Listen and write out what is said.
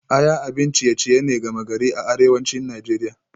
Aya abin ciye-ciye ne gama gari a arewacin Najeriya